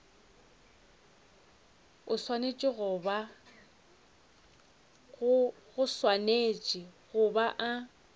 o swanetše go ba a